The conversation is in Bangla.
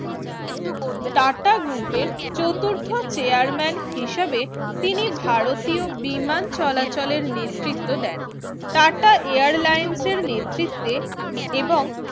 টাটা গ্রুপের চতুর্থ chairman হিসেবে তিনি ভারতীয় বিমান চলাচলের নেতৃত্ব দেন টাটা Airlines র নেতৃত্বে এবং